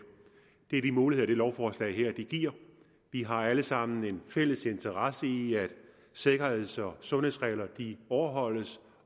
det er de muligheder det her lovforslag giver vi har alle sammen en fælles interesse i at sikkerheds og sundhedsregler overholdes